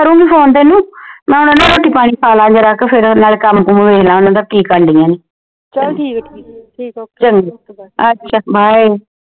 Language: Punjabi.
ਕਰੂੰਗੀ ਫੋਨ ਤੈਨੂੰ ਰੋਟੀ ਪਾਣੀ ਖਾ ਲਾ ਜਰਾ ਕੁ ਫੇਰ ਨਾਲੇ ਕੰਮ ਕੁਮ ਨਵੈੜ ਲਾਂ ਕਿ ਕਰਨ ਢਈਆਂ ਨੇ ਚੰਗੋ ਅੱਛਾ bye